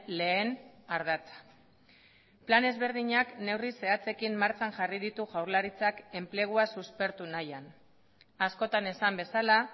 lehen ardatza plan ezberdinak neurri zehatzekin martxan jarri ditu jaurlaritzak enplegua suspertu nahian askotan esan bezala